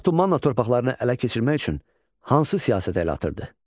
Urartu Manna torpaqlarını ələ keçirmək üçün hansı siyasətə əl atırdı?